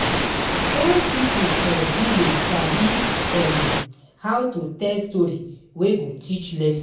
Old pipo for village sabi um how to tell story wey go teach lesson